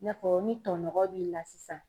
I n'a fɔ ni tɔnɔgɔn b'i la sisan